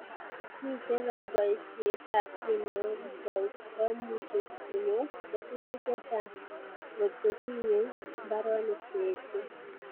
Mitei Kora boisietab tinegok komuchi konyor kesutik chechang ngotkotinyei mbaronik che eechen